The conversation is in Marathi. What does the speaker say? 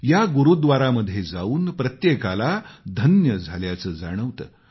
या गुरूद्वारामध्ये जाऊन प्रत्येकाला धन्य झाल्याचं जाणवतं